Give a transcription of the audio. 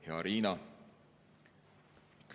Hea Riina!